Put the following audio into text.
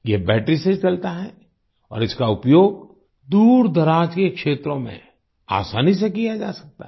यह बैटरी से चलता है और इसका उपयोग दूरदराज के क्षेत्रों में आसानी से किया जा सकता है